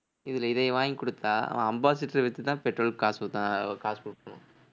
இதுல இதைய வாங்கி கொடுத்தா அவன் அம்பாசிடரை வித்துதான் பெட்ரோலுக்கு காசு அஹ் காசு குடுக்கணும்